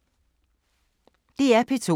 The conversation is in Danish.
DR P2